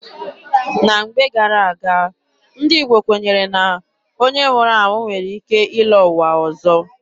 Na mgbe gara-aga, ndị Igbo kwenyere na onye nwụrụ anwụ nwere ike ịlọ ụwa ọzọ.